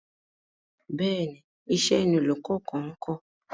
Bẹ́ẹ̀ni, iṣẹ́ ni olùkọ kan ńkọ́.